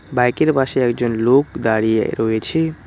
Bike -এর পাশে একজন লোক দাঁড়িয়ে রয়েছে।